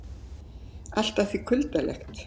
Allt að því kuldalegt.